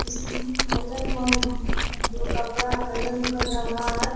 इसमें आइरन-मैन है जो कपड़ा आइरन कर रहा है।